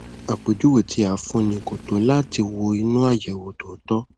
àpèjúwe tí a fúnni kò tó láti wọ inú àyẹwò tó tọ